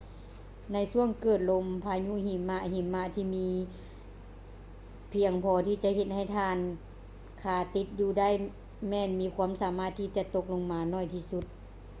ໃນຊ່ວງເກີດລົມພາຍຸຫິມະ ຫິມະທີ່ມີພຽງພໍທີ່ຈະເຮັດໃຫ້ທ່ານຄາຕິດຢູ່ໄດ້ ແມ່ນມີຄວາມສາມາດທີ່ຈະຕົກລົງມາໜ້ອຍທີ່ສຸດ